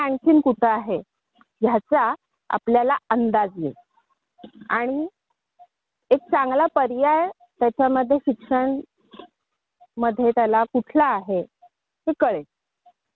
आणि सगळ्यात महत्त्वाचं म्हणजे ओमला कशात आवड आहे? हे त्याला आणि त्याला काय करायला आवडेल याचा कल तू जाणून घे त्यासाठी त्याची दहावीची परीक्षा झाली ना की ऍप्टिट्यूट टेस्ट करून घे.